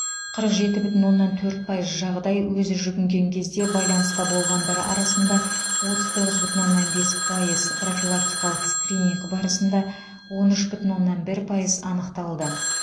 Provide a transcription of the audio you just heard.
қырық жеті бүтін оннан төрт пайыз жағдай өзі жүгінген кезде байланыста болғандар арасында отыз тоғыз бүтін оннан бес пайыз профилактикалық скрининг барысында он үш бүтін оннан бір пайыз анықталды